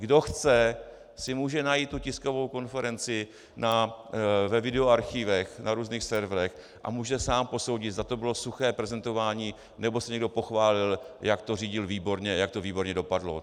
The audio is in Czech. Kdo chce, si může najít tu tiskovou konferenci ve videoarchivech, na různých serverech a může sám posoudit, zda to bylo suché prezentování, nebo se někdo pochválil, jak to řídil výborně, jak to výborně dopadlo.